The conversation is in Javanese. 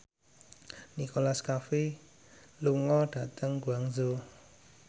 Nicholas Cafe lunga dhateng Guangzhou